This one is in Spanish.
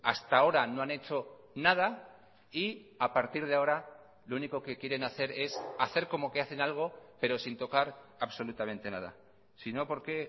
hasta ahora no han hecho nada y a partir de ahora lo único que quieren hacer es hacer como que hacen algo pero sin tocar absolutamente nada si no por qué